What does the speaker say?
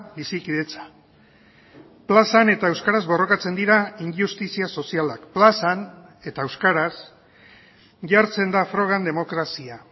bizikidetza plazan eta euskaraz borrokatzen dira injustizia sozialak plazan eta euskaraz jartzen da frogan demokrazia